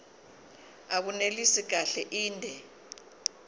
abunelisi kahle inde